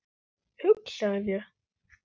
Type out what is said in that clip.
Hugsaðu þér.